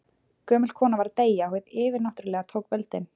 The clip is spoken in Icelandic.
Gömul kona var að deyja og hið yfirnáttúrlega tók völdin.